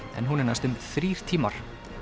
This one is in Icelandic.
en hún er næstum þrír tímar